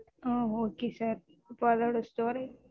ஆஹ் okay sir இப்போ அதோட storage